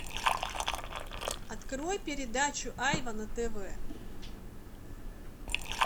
открой передачу айва на тв